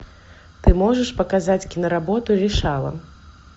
ты можешь показать киноработу решала